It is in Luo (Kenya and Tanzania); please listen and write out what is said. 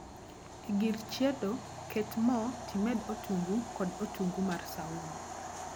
E gir chiedo, ket moo timed otungu kod otungu mar saumu